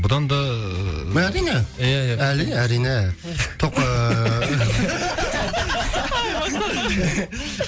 бұдан да ыыы әрине иә иә әрине әрине топқа